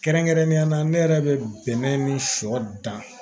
Kɛrɛnkɛrɛnnenya la ne yɛrɛ bɛ bɛnɛ ni sɔ dan